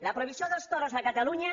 la prohibició dels toros a catalunya